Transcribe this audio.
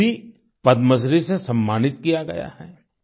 उन्हें भी पद्मश्री से सम्मानित किया गया है